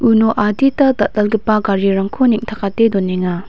uno adita dal·dalgipa garirangko neng·takate donenga.